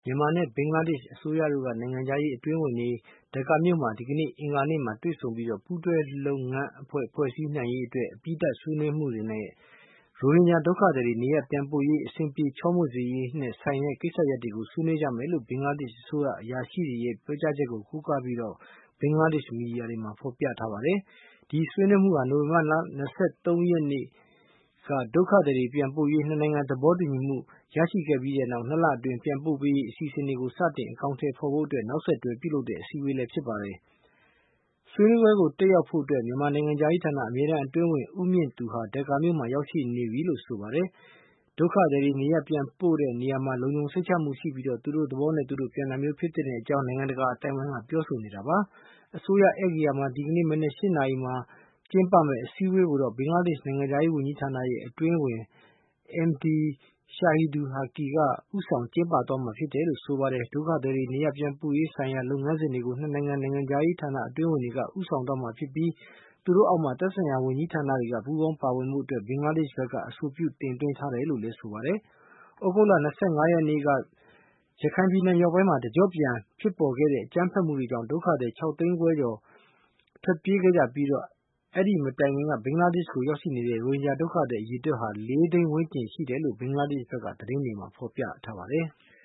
မြန်မာနဲ့ ဘင်္ဂလားဒေ့ရှ်အစိုးရတို့က နိုင်ငံခြားရေး အတွင်းဝန်တွေ ဒါကာမြို့မှာ ဒီကနေ့ အင်္ဂါနေ့မှာ တွေ့ဆုံပြီး ပူးတွဲလုပ်ငန်းအဖွဲ့ ဖွဲ့စည်းနိုင်ရေး အတွက် အပြီးသတ် ဆွေးနွေးမှုနဲ့ ရိုဟင်ဂျာဒုက္ခသည်တွေ နေရပ်ပြန်ပို့ရေး အဆင်ပြေ ချောမွေ့စေရေးနဲ့ဆိုင်တဲ့ ကိစ္စရပ်တွေကို ဆွေးနွေး ကြမယ်လို့ ဘင်္ဂလားဒေ့ရှ် အစိုးရ အရာရှိတွေရဲ့ ပြောကြားချက်ကို ကိုးကားပြီး ဘင်္ဂလားဒေ့ရှ် သတင်းမီဒီယာတွေမှာ ဖော်ပြကြပါတယ်။ ဒီဆွေးနွေးမှုဟာ နိုဝင်ဘာ ၂၃ ရက်နေ့က ဒုက္ခသည်တွေ ပြန်ပို့ရေး နှစ်နိုင်ငံ သဘောတူညီမှု ရရှိပြီးတဲ့နောက် ၂ လအတွင်း ပြန်ပို့ရေး အစီအစဉ်တွေ စတင် အကောင်အထည်ဖော်ဖို့ နောက်ဆက်တွဲ ပြုလုပ်တဲ့ စည်းဝေးပွဲလည်း ဖြစ်ပါတယ်။ ဆွေးနွေးပွဲကို တက်ရောက်ဖို့အတွက် မြန်မာနိုင်ငံခြားရေးဌာန အမြဲတမ်းအတွင်းဝန် ဦးမြင့်သူဟာ ဒါကာမြို့မှာ ရောက်နေပြီလို့ ဆိုပါတယ်။ ဒုက္ခသည်တွေကို နေရပ်ပြန်ပို့တဲ့နေရာမှာ လုံခြုံစိတ်ချမှုရှိပြီး သူတို့သဘောနဲ့ သူတို့ပြန်တာမျိုး ဖြစ်သင့်ကြောင်း နိုင်ငံတကာ အသိုင်းဝိုင်းက ပြောဆိုနေတာပါ။ အစိုးရဧည့်ဂေဟာမှာ ဒီကနေ့မနက် ၈ နာရီမှာ ကျင်းပမယ့် စည်းဝေးပွဲကိုတော့ ဘင်္ဂလားဒေ့ရှ် နိုင်ငံခြားရေးဌာန အတွင်းဝန် Md Shahidul Haque က ဦးဆောင် ကျင်းပသွားမှာ ဖြစ်တယ်လို့ ဆိုပါတယ်။ ဒုက္ခသည်တွေ နေရပန်ပြန်ပို့ရေးဆိုင်ရာ လုပ်ငန်းစဉ်တွေကို နှစ်နိုင်ငံ နိုင်ငံခြားရေးဌာန အတွင်းဝန်တွေက ဦးဆောင်သွားမှာဖြစ်ပြီး သူတို့အောက်မှာ သက်ဆိုင်ရာ ဝန်ကြီးဌာနတွေက ပူးပေါင်းပါဝင်ဖို့ ဘင်္ဂလားဒေ့ရှ်ဘက်က အဆိုပြုချက် တင်သွင်းထားတယ်လို့ ဆိုပါတယ်။ သြဂုတ်လ ၂၅ ရက်နေ့က ရခိုင်ပြည်နယ်မြောက်ပိုင်းမှာ တကျော့ပြန် ဖြစ်ပေါ်ခဲ့တဲ့ အကြမ်းဖက်မှုတွေကြောင့် ဒုက္ခသည် ၆ သိန်းခွဲကျော် ထွက်ပြေးခဲ့ကြပြီး အဲဒီမတိုင်ခင်က ဘင်္ဂလားဒေ့ရှ်ဘက်ကို ရောက်နေတဲ့ ရိုဟင်ဂျာဒုက္ခသည်အရေအတွက်ဟာ ၄ သိန်း ဝန်းကျင်ရှိတယ်လို့ ဘင်္ဂလားဒေ့ရှ်ဘက်က သတင်းတွေမှာ ဖော်ပြထားပါတယ်။